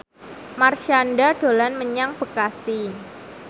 Marshanda dolan menyang Bekasi